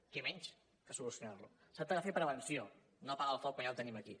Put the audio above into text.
què menys que solucionar lo es tracta de fer prevenció no apagar el foc quan ja el tenim aquí